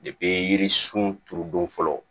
yiririsun turu don fɔlɔ